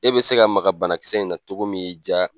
E bɛ se ka maga bana kisɛ in na cogo min y'i ja.